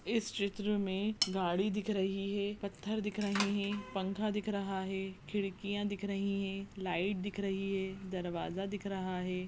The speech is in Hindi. इस चित्र मे गाड़ी दिख रही है पत्थर दिख रहे है पंखा दिख रहा है खिड़कियां दिख रही है लाइट दिख रही है दरवाजा दिख रहा है।